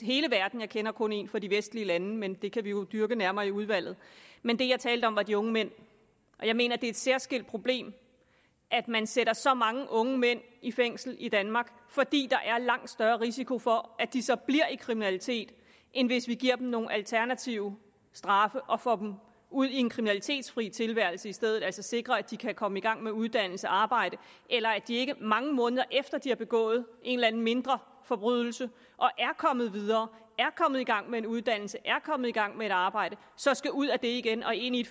hele verden jeg kender kun en for de vestlige lande men det kan vi jo dyrke nærmere i udvalget men det jeg talte om var de unge mænd og jeg mener det er et særskilt problem at man sætter så mange unge mænd i fængsel i danmark fordi der er langt større risiko for at de så bliver i kriminalitet end hvis vi giver dem nogle alternative straffe og får dem ud i en kriminalitetsfri tilværelse i stedet altså sikrer at de kan komme i gang med uddannelse arbejde eller at de ikke mange måneder efter de har begået en eller anden mindre forbrydelse og er kommet videre er kommet i gang med en uddannelse er kommet i gang med et arbejde så skal ud af det igen og ind i